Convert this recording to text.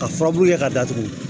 Ka furabulu kɛ ka datugu